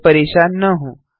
इससे परेशान न हों